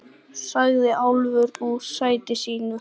sagði Álfur úr sæti sínu.